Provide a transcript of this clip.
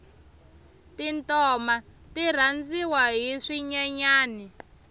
tintoma ti rhandziwa hi swinyenyani